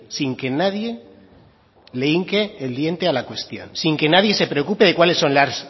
sin que nadie le hinque el diente a la cuestión sin que nadie se preocupe de cuáles son las